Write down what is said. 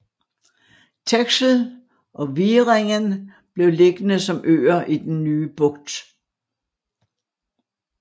Texel og Wieringen blev liggende som øer i den nye bugt